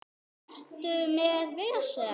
Ertu með vesen?